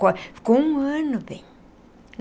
Ficou um ano bem.